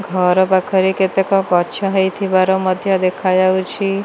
ଘର ପାଖରେ କେତେକ ଗଛ ହେଇଥିବାର ମଧ୍ଯ ଦେଖାଯାଉଛି।